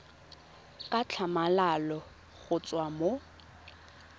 ka tlhamalalo go tswa mo